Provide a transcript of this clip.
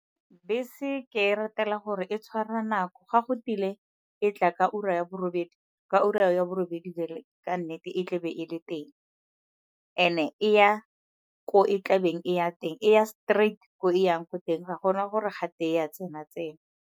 Bese ke e ratela gore e tshwara nako ga go tile e tla ka ura ya bo robedi, ka ura ya bo robedi ka nnete e tlabe e le teng. And-e e ya ko e tlabeng e ya teng, e ya straight ko e yang ko teng ga gona gore gate e a tsena-tsena.